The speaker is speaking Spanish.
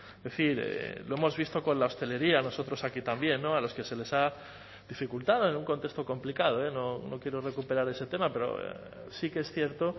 es decir lo hemos visto con la hostelería nosotros aquí también a los que se les ha dificultado en un contexto complicado no quiero recuperar ese tema pero sí que es cierto